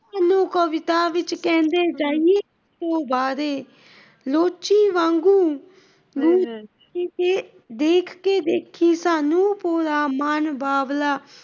ਕਵਿਤਾ ਵਿੱਚ ਕਹਿੰਦੇ , ਲੋਚੀ ਵਾਂਗੂ ਦੇ ਕੇ ਦੇਖੀ ਸਾਨੂ ਪੂਰਾ ਮਾਨ ਬਾਬਲਾ,